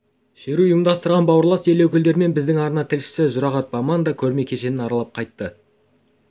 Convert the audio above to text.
шеру ұйымдастырған бауырлас ел өкілдерімен біздің арна тілшісі жұрағат баман да көрме кешенін аралап қайтты